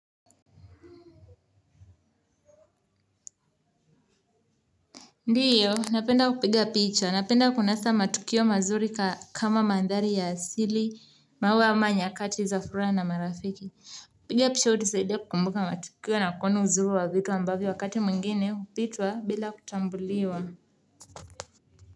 Ndiyo, napenda kupiga picha, napenda kunasa matukio mazuri kama mandhari ya asili, maua ama nyakati za furaha na marafiki. Kupiga picha hutusaidia kukumbuka matukio na kuona uzuri wa vitu ambavyo wakati mwingine hupitwa bila kutambuliwa.